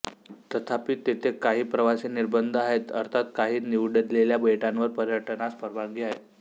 तथापि तेथे काही प्रवासी निर्बंध आहेत अर्थात काही निवडलेल्या बेटांवर पर्यटनास परवानगी आहे